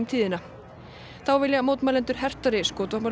tíðina þá vilja mótmælendur hertari